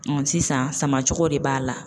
sisan sama cogo de b'a la